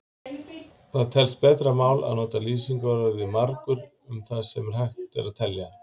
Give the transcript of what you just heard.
Það telst betra mál að nota lýsingarorðið margur um það sem hægt er að telja.